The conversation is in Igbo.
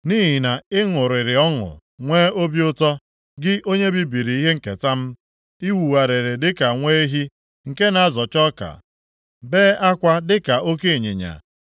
“Nʼihi na ị ṅụrịrị ọṅụ nwee obi ụtọ, gị onye bibiri ihe nketa m, ị wugharịrị dịka nwa ehi nke na-azọcha ọka, bee akwa dịka oke ịnyịnya.